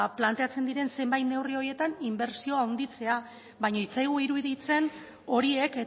planteatzen diren zenbait neurri horietan inbertsioa handitzea baina ez zaigu iruditzen horiek